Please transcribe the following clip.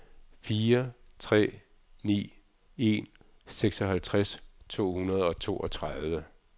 fire tre ni en seksoghalvtreds to hundrede og toogtredive